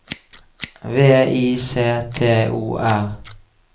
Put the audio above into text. V I C T O R